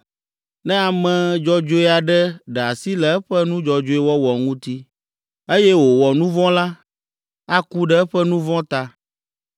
Ne ame dzɔdzɔe aɖe ɖe asi le eƒe nu dzɔdzɔe wɔwɔ ŋuti, eye wòwɔ nu vɔ̃ la, aku ɖe eƒe nu vɔ̃ ta.